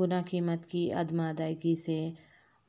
گناقیمت کی عدم ادائیگی سے